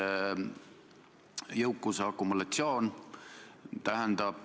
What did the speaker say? Eesmärk on ikkagi sellega võimalikult kiiresti edasi liikuda.